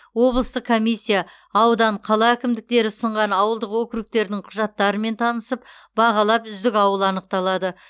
облыстық комиссия аудан қала әкімдіктері ұсынған ауылдық округтердің құжаттарымен танысып бағалап үздік ауыл анықталады